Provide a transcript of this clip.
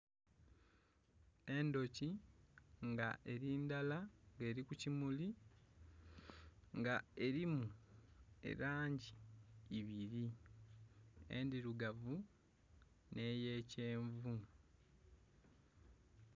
Endhoki nga eri ndala, nga eri ku kimuli. Nga erimu elangi ibiri, endhirugavu nh'eya kyenvu.